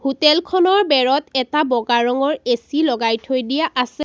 হোটেলখনৰ বেৰত এটা বগা ৰঙৰ এ_চি লগাই থৈ দিয়া আছে।